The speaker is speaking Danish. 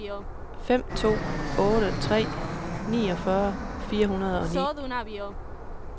fem to otte tre niogfyrre fire hundrede og ni